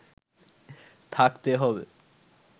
থাকতে হবে